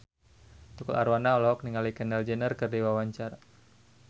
Tukul Arwana olohok ningali Kendall Jenner keur diwawancara